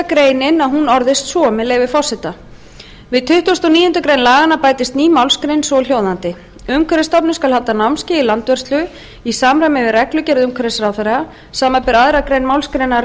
grein orðist svo með leyfi forseta við tuttugustu og níundu grein laganna bætist ný málsgrein svohljóðandi umhverfisstofnun skal halda námskeið í landvörslu í samræmi við reglugerð umhverfisráðherra samanber